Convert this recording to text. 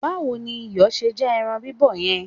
Báwo ni iyọ̀ ṣe já ẹran bíbọ̀ yẹn?